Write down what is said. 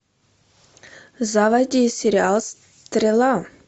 заводи сериал стрела